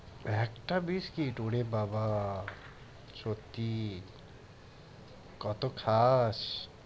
একটা biscuit ওরে বাবা! সত্যি কত খাস!